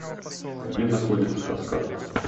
где находится каскад